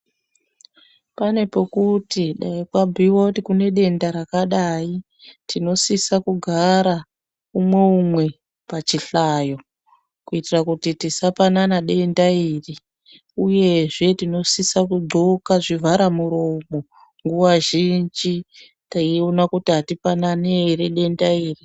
Pane pokuti dai pabhuiwa kuti kune denda rakadai, tinosisa kugara umwe umwe pachihlayo, kuitira kuti tisapanana denda iri, uyezve tinosisa kudxoka zvivharamuroma, nguwa zhinji, teiona kuti atipanani ere denda iri.